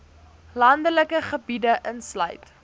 landelike gebiede insluit